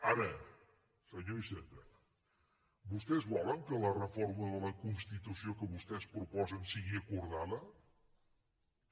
ara senyor iceta vostès volen que la reforma de la constitució que vostès proposen sigui acordada també